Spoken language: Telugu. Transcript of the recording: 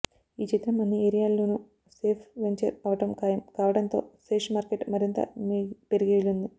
ఈ చిత్రం అన్ని ఏరియాల్లోను సేఫ్ వెంఛర్ అవడం ఖాయం కావడంతో శేష్ మార్కెట్ మరింత పెరిగే వీలుంది